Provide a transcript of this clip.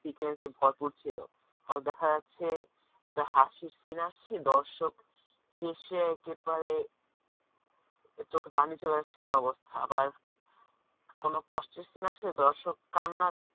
sequence এ ভরপুর ছিল হয়ত দেখা যাচ্ছে যে হাসির scene আসছে দর্শক হেসে একেবারে চোখে পানি চলে আসছে এরকম অবস্থা আবার কোন কষ্টের scene আসছে দর্শক কান্না